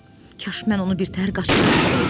Kaş mən onu birtəhər qaçıra bilsəydim.